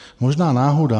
Možná náhoda.